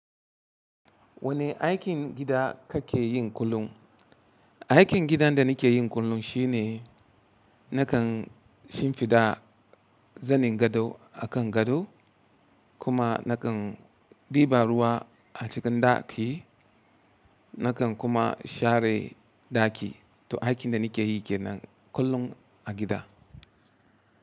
Wane aikin gida kake yin kullum? Aikin gidan da nake yin kullum shine nakan shimfiɗa zanin gado a kan gado kuma nakan ɗiba ruwa a cikin ɗaki. Nakan kuma share ɗaki. To aikin da nake yi kenan kullum a gida.